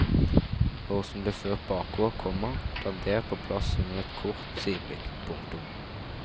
Hår som ble ført bakover, komma dandert på plass under et kort sideblikk. punktum